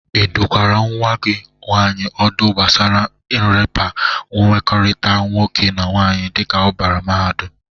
Ị dụkwara nwa gi nwaanyị ọdụ gbasara nrịpa mmekọrịta nwoke na nwaanyị dịka ọ bara mahadụm?